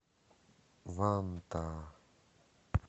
вантаа